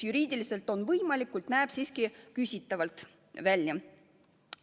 Juriidiliselt on see võimalik, kuid näeb siiski küsitav välja.